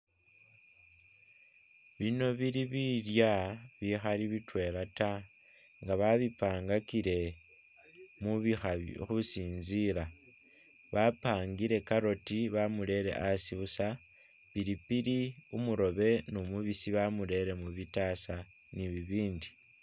Bino bili bilya bihali bitwela ta nga babipangakile mubihali husinzila, bapangile carrot bamurere asi busa, pilipili umurobe numubisi bamurere mubitasa nibibindi.